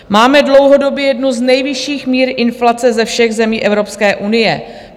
Máme dlouhodobě jednu z nejvyšších mír inflace ze všech zemí Evropské unie.